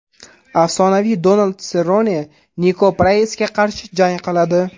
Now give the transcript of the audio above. Afsonaviy Donald Serrone Niko Praysga qarshi jang qiladi.